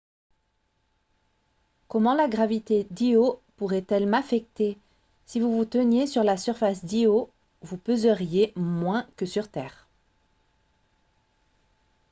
comment la gravité d’io pourrait-elle m’affecter ? si vous vous teniez sur la surface d’io vous pèseriez moins que sur terre